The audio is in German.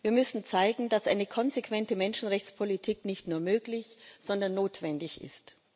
Wir müssen zeigen, dass eine konsequente Menschenrechtspolitik nicht nur möglich, sondern notwendig ist.